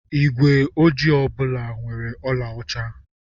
Igwe ojii ọ bụla nwere eriri ọlaọcha.